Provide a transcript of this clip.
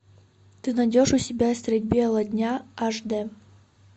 ты найдешь у себя средь бела дня аш д